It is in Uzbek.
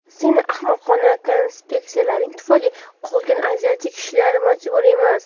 Seni ahmoqona konsepsiyalaring tufayli qolganlar aziyat chekishga majbur emas.